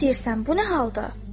Nə istəyirsən, bu nə haldır?